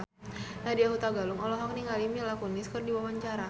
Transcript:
Nadya Hutagalung olohok ningali Mila Kunis keur diwawancara